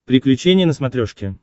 приключения на смотрешке